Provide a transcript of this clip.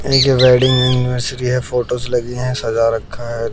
एक wedding anniversary है। Photo लगी है सजा रखा हैं।